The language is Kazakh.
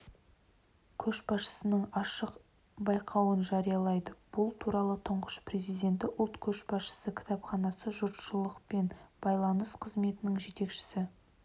көшбасшысы ашық байқауын жариялайды бұл туралы тұңғыш президенті ұлт көшбасшысы кітапханасы жұртшылықпен байланыс қызметінің жетекшісі